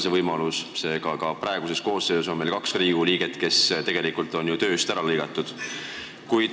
Seega on meil ka praeguses koosseisus kaks liiget, kes on tegelikult tööst ära lõigatud.